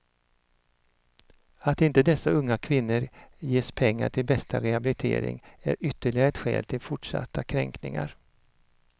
Att inte dessa unga kvinnor ges pengar till bästa rehabilitering är ytterligare ett skäl till fortsatta kräkningar.